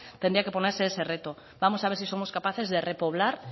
tenía que ponerse ese reto vamos a ver si somos capaces de repoblar